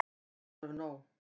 Þetta er alveg nóg!